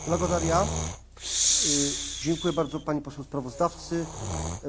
Mam poczucie, że wziąłem udział w historycznej debacie.